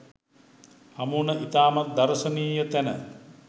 හමුවන ඉතාමත් දර්ශනීය තැන